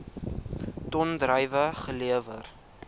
ton druiwe gelewer